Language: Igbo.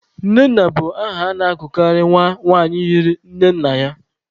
Nnenna bụ aha a na-agụkarị nwa nwanyị yiri nne nna ya.